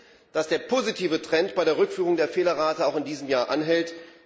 Gut ist, dass der positive Trend bei der Rückführung der Fehlerrate auch in diesem Jahr anhält.